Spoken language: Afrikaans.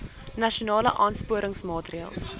nasionale aansporingsmaatre ls